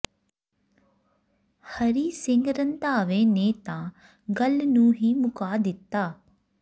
ਹਰੀ ਸਿੰਘ ਰੰਧਾਵੇ ਨੇ ਤਾ ਗੱਲ ਨੂੰ ਹੀ ਮੁੱਕਾ ਦਿੱਤਾ